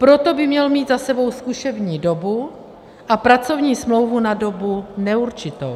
Proto by měl mít za sebou zkušební dobu a pracovní smlouvu na dobu neurčitou.